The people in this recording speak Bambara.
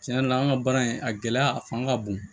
Tiɲɛ yɛrɛ la an ka baara in a gɛlɛya a fanga ka bon